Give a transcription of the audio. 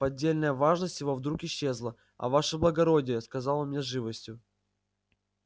поддельная важность его вдруг исчезла а ваше благородие сказал он мне с живостью